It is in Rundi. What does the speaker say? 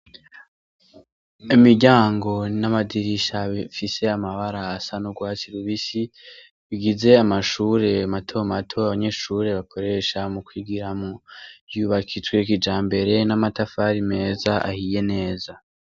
Imiryango n'amadirisha bifise amabara asa n'urwatsi rubisi, bigize amashure matomato abanyeshure bakoresha mu kwigiramwo yubakijwe kijambere n'amatafari meza ahiye neza.